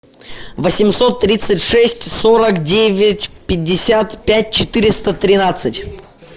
восемьсот тридцать шесть сорок девять пятьдесят пять четыреста тринадцать